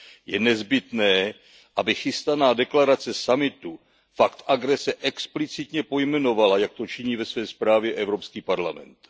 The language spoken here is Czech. Je nezbytné, aby chystaná deklarace summitu fakt agrese explicitně pojmenovala, jak to činí ve své zprávě Evropský parlament.